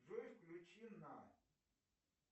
джой включи на